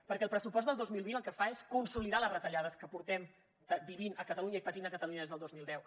perquè el pressupost del dos mil vint el que fa és consolidar les retallades que portem vivint a catalunya i patint a catalunya des del dos mil deu